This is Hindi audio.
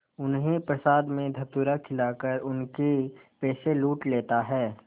उन्हें प्रसाद में धतूरा खिलाकर उनके पैसे लूट लेता है